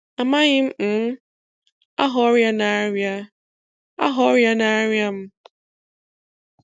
Amaghị um m aha ọrịa na-arịa aha ọrịa na-arịa m